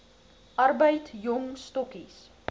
arbeid jong stokkies